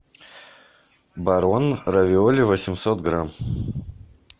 барон равиоли восемьсот грамм